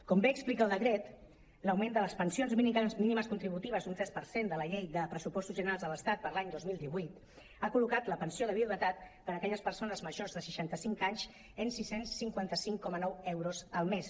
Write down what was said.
com bé explica el decret l’augment de les pensions mínimes contributives un tres per cent de la llei de pressupostos generals de l’estat per a l’any dos mil divuit ha col·locat la pensió de viudetat per a aquelles persones majors de seixanta·cinc anys en sis cents i cinquanta cinc coma nou euros al mes